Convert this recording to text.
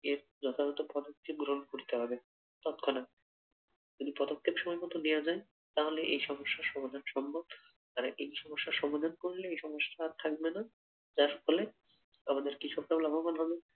এর যথাযথ পদক্ষেপ গ্রহণ করতে হবে তৎক্ষণাৎ যদি পদক্ষেপ সময় মতো নেওয়া যায় তাহলে এই সমস্যার সমাধান সম্ভব আর এই সমস্যা সমাধান করলে এই সমস্যা আর থাকবে না যার ফলে আমাদের কৃষকরাও লাভবান হবে।